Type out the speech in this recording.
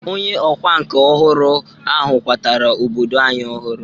Onye ọkwa nka ọhụrụ ahụ kwatara obodo anyị ọhụrụ.